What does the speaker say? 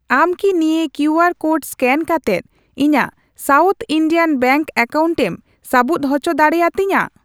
ᱟᱢ ᱠᱤ ᱱᱤᱭᱟᱹ ᱠᱤᱭᱩᱟᱨ ᱠᱳᱰ ᱥᱠᱮᱱ ᱠᱟᱛᱮᱫ ᱤᱧᱟᱜ ᱥᱟᱣᱩᱛᱷ ᱤᱱᱰᱤᱭᱟᱱ ᱵᱮᱝᱠ ᱮᱠᱟᱣᱩᱱᱴᱮᱢ ᱥᱟᱹᱵᱩᱫ ᱩᱪᱚ ᱫᱟᱲᱤᱭᱟᱹᱛᱤᱧᱟ ?